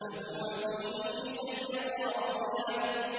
فَهُوَ فِي عِيشَةٍ رَّاضِيَةٍ